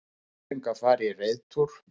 Börn fengu að fara í reiðtúr